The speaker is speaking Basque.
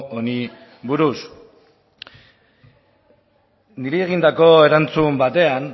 honi buruz niri egindako erantzun batean